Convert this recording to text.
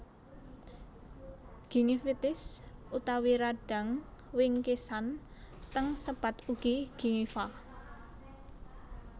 Gingivitis utawi radang wingkisan teng sebat ugi gingiva